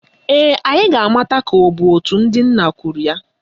Ee, anyị ga-amata ka ọ bụ òtù ndị nna kwuru ya